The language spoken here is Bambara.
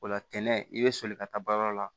O la tɛnɛ i bɛ soli ka taa baarayɔrɔ la